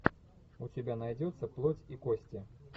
у тебя найдется плоть и кости